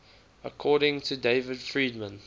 according to david friedman